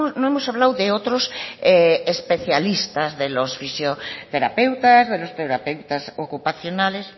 no hemos hablado de otros especialistas de los fisioterapeutas de los terapeutas ocupacionales